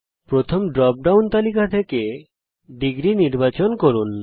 প্রথম dropdown তালিকা থেকে ° নির্বাচন করুন